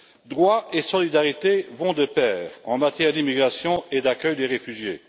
Droits et solidarité vont de pair en matière d'immigration et d'accueil des réfugiés.